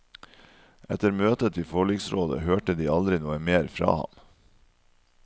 Etter møtet i forliksrådet hørte de aldri noe mer fra ham.